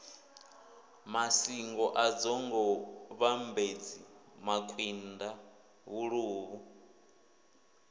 masingo dzinḓou vhambedzi makwinda vhaluvhu